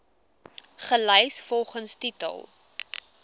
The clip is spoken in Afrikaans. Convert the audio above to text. gelys volgens titel